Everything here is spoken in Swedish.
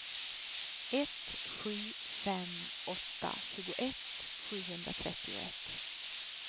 ett sju fem åtta tjugoett sjuhundratrettioett